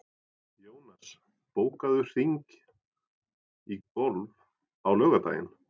Jónas, bókaðu hring í golf á laugardaginn.